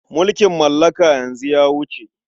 Mulkin mallaka yanzu ya wuce.